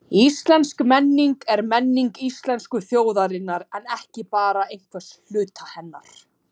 Íslensk menning er menning íslensku þjóðarinnar en ekki bara einhvers hluta hennar.